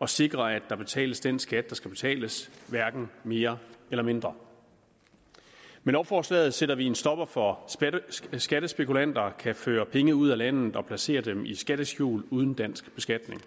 og sikre at der betales den skat der skal betales hverken mere eller mindre med lovforslaget sætter vi en stopper for at skattespekulanter kan føre penge ud af landet og placere dem i skatteskjul uden dansk beskatning